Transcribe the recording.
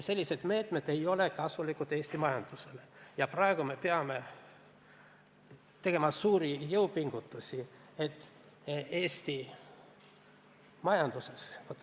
Sellised meetmed ei ole Eesti majandusele kasulikud ja me peame praegu tegema suuri jõupingutusi, et Eesti majandus kokku ei kukuks.